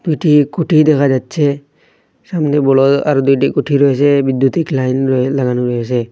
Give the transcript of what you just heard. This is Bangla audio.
দুটি খুঁটি দেখা যাচ্ছে সামনে বলয় আর দুটি খুঁটি রয়েছে বিদ্যুতিক লাইন র লাগানো রয়েসে।